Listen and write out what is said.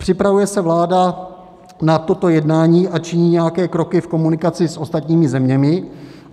Připravuje se vláda na toto jednání a činí nějaké kroky v komunikaci s ostatními zeměmi?